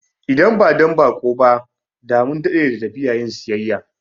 Idan ba don baƙo ba, da mun dade da tafiya yin siyayya